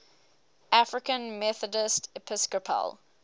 african methodist episcopal